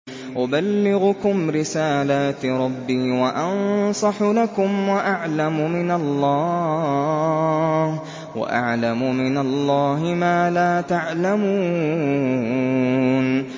أُبَلِّغُكُمْ رِسَالَاتِ رَبِّي وَأَنصَحُ لَكُمْ وَأَعْلَمُ مِنَ اللَّهِ مَا لَا تَعْلَمُونَ